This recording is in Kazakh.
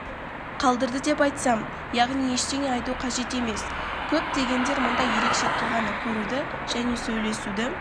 қалдырды деп айтсам яғни ештеңе айту қажет емес көптегендер мұндай ерекше тұлғаны көруді және сөйлесуді